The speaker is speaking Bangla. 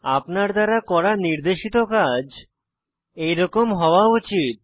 আপনার দ্বারা করা নির্দেশিত কাজ এরকম হওয়া উচিত